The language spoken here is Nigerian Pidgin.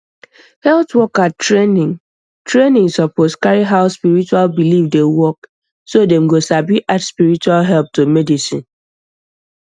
health worker training training suppose carry how spiritual belief dey work so dem go sabi add spiritual help to medicine